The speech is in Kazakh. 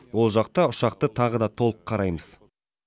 ол жақта ұшақты тағы да толық қараймыз